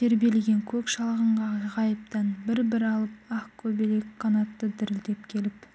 тербелген көк шалғынға ғайыптан бір-бір алып ақ көбелек қанаты дірілдеп келіп